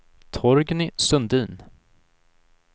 Torgny Sundin